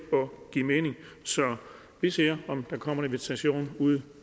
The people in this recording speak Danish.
og give mening så vi ser om der kommer en invitation ud